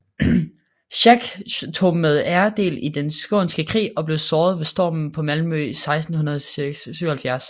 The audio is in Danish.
Schack tog med ære del i Den Skånske Krig og blev såret ved stormen på Malmø 1677